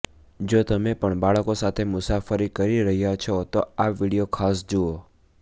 જો તમે પણ બાળકો સાથે મુસાફરી કરી રહ્યા છો તો આ વીડિયો ખાસ જુઓ